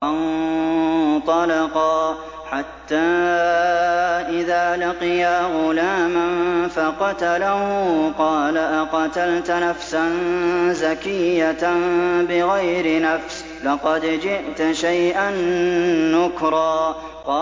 فَانطَلَقَا حَتَّىٰ إِذَا لَقِيَا غُلَامًا فَقَتَلَهُ قَالَ أَقَتَلْتَ نَفْسًا زَكِيَّةً بِغَيْرِ نَفْسٍ لَّقَدْ جِئْتَ شَيْئًا نُّكْرًا